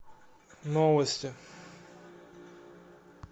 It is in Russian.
новости